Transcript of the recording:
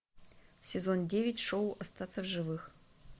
сезон девять шоу остаться в живых